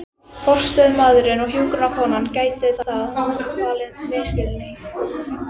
forstöðumaðurinn og hjúkrunarkonan, gæti það valdið misskilningi.